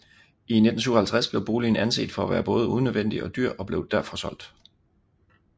I 1957 blev boligen anset for at være både unødvendig og dyr og blev derfor solgt